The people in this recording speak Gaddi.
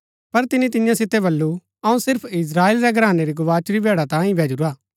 पर तिनी तियां सितै बल्लू अऊँ सिर्फ इस्त्राएल रै घरानै री गवाचुरी भैड़ा तांयें ही भैजुरा